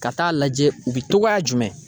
Ka taa lajɛ u bɛ togoya jumɛn?